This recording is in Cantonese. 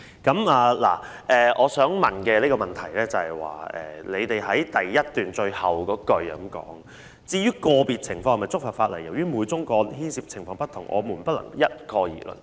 當局在主體答覆第一部分最後一段表示："至於個別情況是否觸犯法例，由於每宗個案牽涉的情況不同，不能一概而論。